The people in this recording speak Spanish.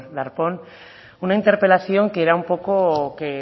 darpón una interpelación que era un poco que